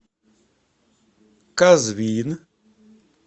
казвин